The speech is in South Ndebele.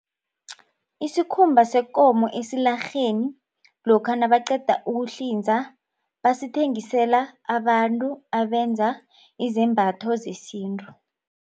Isikhumba sekomo esilarheni lokha nabaqeda ukuhlinza basithengisela abantu abenza izembatho zesintu.